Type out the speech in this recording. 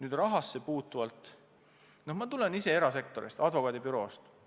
Mis rahasse puutub, siis ma tulen erasektorist, advokaadibüroost.